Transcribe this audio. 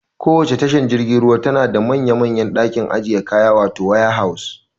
Kowacce tashar jirgin ruwa tana da manya manyan ɗakin ajiye kaya wato waya haus